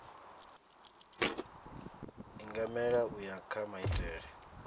ingamela u ya kha maitele